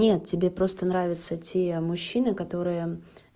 нет тебе просто нравятся те мужчины которые